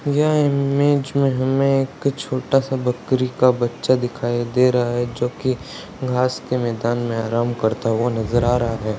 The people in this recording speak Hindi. यह इमेज में हमें एक छोटा-सा बकरी का बच्चा दिखाई दे रहा है जो की घास के मैदान में आराम करता हुआ नजर आ रहा है।